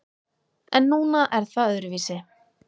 En núna er það öðruvísi.